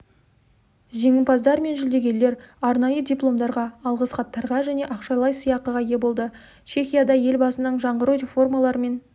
жеңімпаздар мен жүлдегерлер арнайы дипломдарға алғыс хаттарға және ақшалай сыйақыға ие болды чехияда елбасының жаңғыру реформаларымен